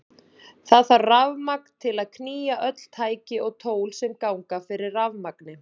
Það þarf rafmagn til að knýja öll tæki og tól sem ganga fyrir rafmagni.